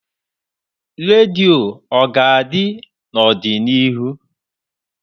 Radio ọ ga-adị n'ọdịnihu?